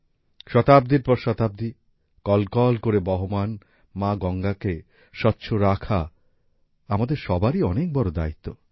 শতাব্দীর পর শতাব্দী কলকল করে বহমান মা গঙ্গাকে স্বচ্ছ রাখা আমাদের সবারই অনেক বড় দায়িত্ব